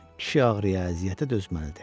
Kişi ağrıya, əziyyətə dözməlidir.